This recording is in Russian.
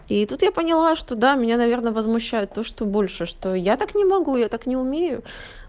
и тут я поняла что да меня наверное возмущает то что больше что я так не могу я так не умею